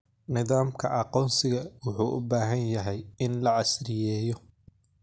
Nidaamka aqoonsiga wuxuu u baahan yahay in la casriyeeyo.